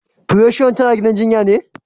Precious tana gidan jinyan ne?